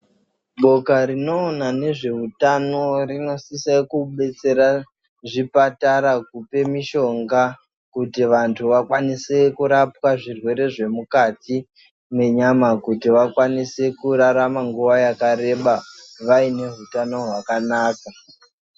Boka rinoona nezveutano rinosisa kubetsera zvipatara kupe mishonga kuti vanhu vakwanise kurapwa zvirwere zvemukati menyama ,kuti vakwanise kurarama nguva yakareba vaine hutano hwakanaka.